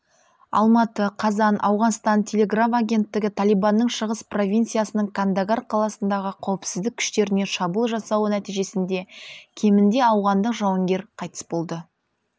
алматы қазан ауғанстан телеграф агенттігі талибанның шығыс провинциясының кандагар қаласындағы қауіпсіздік күштеріне шабуыл жасауы нәтижесінде кемінде ауғандық жауынгер қайтыс болды